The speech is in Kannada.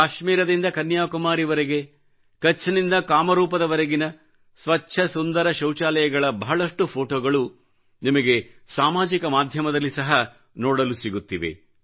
ಕಾಶ್ಮೀರದಿಂದ ಕನ್ಯಾಕುಮಾರಿಯವರೆಗೆ ಕಛ್ನಿಂ ದ ಕಾಮರೂಪದವರೆಗಿನ ಸ್ವಚ್ಚ ಸುಂದರ ಶೌಚಾಲಯಗಳ ಬಹಳಷ್ಟು ಫೋಟೋಗಳು ನಿಮಗೆ ಸಾಮಾಜಿಕ ಮಾಧ್ಯಮದಲ್ಲಿ ಸಹ ನೋಡಲು ಸಿಗುತ್ತಿವೆ